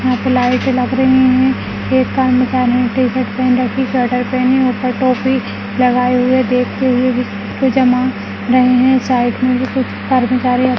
यहां पे लाइट लग रही है एक कर्मचारी टीशर्ट पहन रखी स्वेटर पहनी ऊपर टोपी लगाए हुए देखते हुए दिख कुछ जमा रहे हैं साइड में भी कुछ कर्मचारी --